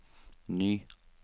ny